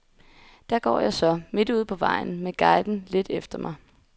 Der går jeg så, midt ude på vejen med guiden lidt efter mig.